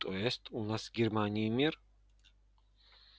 то есть у нас с германией мир